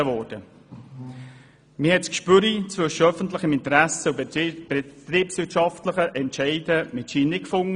Man hat das Gespür für die Grenze zwischen öffentlichem Interesse und betriebswirtschaftlichen Entscheiden offenbar in diesem Fall nicht gefunden.